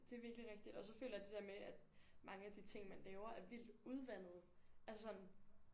Det virkeligt rigtigt og så føler jeg det der med at mange af de ting man laver er vildt udvandede altså sådan